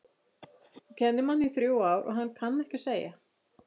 Þú kennir manni í þrjú ár og hann kann ekki að segja